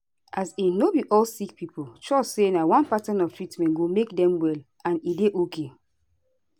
as in no be all sick pipo trust say na one pattern of treatment go make dem well and e dey ok